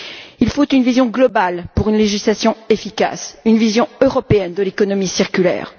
Il faut une vision globale pour une législation efficace, une vision européenne de l'économie circulaire.